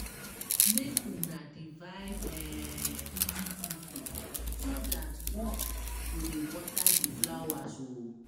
Make una divide into two Group so one go dey water the flowers.